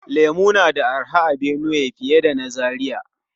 Lemu na da arha a Benue fiye da na Zaria.